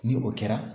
Ni o kɛra